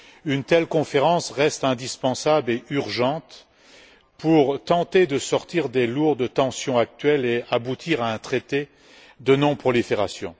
Une telle conférence reste indispensable et urgente, pour tenter de se dégager des lourdes tensions actuelles et aboutir à un traité de non prolifération.